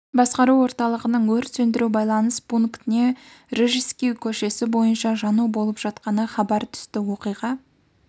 басқару орталығының өрт сөндіру байланыс пунктіне рижский көшесі бойынша жану болып жатқаны хабар түсті оқиға